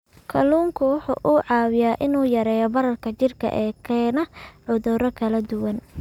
Kalluunku waxa uu caawiyaa in uu yareeyo bararka jidhka ee keena cudurro kala duwan.